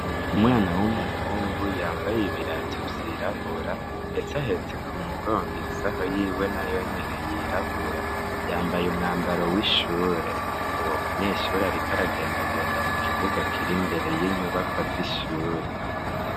Umwana w'umuhungu yambaye ibirato vyirabura, ndetse ahetse ku mugongo isaho yiwe nayo nyene yirabura, yambaye umwambaro w'ishure, uwo munyeshuri ariko aragendagenda mu kibuga kiri imbere y'inyubakwa z'ishure.